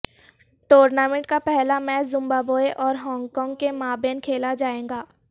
tournament کا پہلا match Zimbabwe اور ہانگ کانگ کے مابین کھیلا جائے گا